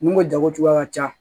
N'u ko jago cogoya ka ca